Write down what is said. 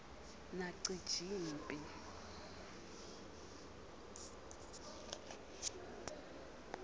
nacijimphi